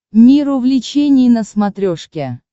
мир увлечений на смотрешке